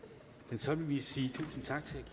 så vil vi sige tusind tak til